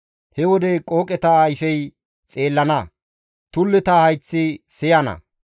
He wode qooqeta ayfey xeellana; tulleta hayththi siyana.